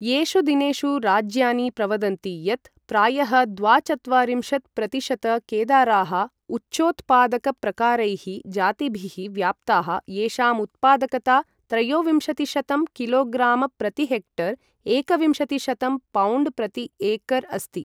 एषु दिनेषु राज्यानि प्रवदन्ति यत् प्रायः द्वाचत्वारिंशत् प्रतिशत केदाराः उच्चोत्पादकप्रकारकैः जातिभिः व्याप्ताः येषामुत्पादकता त्रयोविंशतिशतं किलोग्राम्प्रतिहेक्टर् एकविंशतिशतं पाउण्ड्प्रतिएकर् अस्ति।